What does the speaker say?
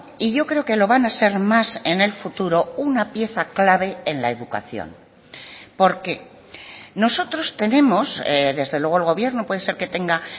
y yo creo que lo van a ser más en el futuro una pieza clave en la educación por qué nosotros tenemos desde luego el gobierno puede ser que tenga